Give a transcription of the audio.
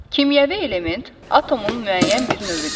Kimyəvi element atomun müəyyən bir növüdür.